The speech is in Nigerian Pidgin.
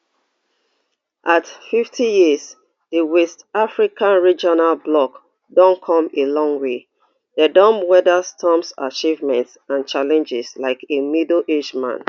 at fifty years di west africa regional bloc don come a long way dem don weather storms achievements and challenges like a middleaged man